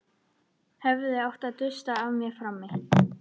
Hefði átt að dusta af mér frammi.